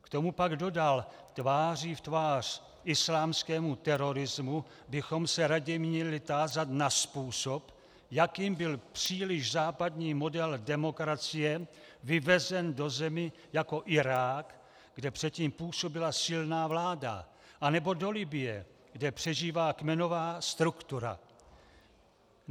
K tomu pak dodal: Tváří v tvář islámskému terorismu bychom se raději měli tázat na způsob, jakým byl příliš západní model demokracie vyvezen do zemí jako Irák, kde předtím působila silná vláda, nebo do Libye, kde přežívá kmenová struktura.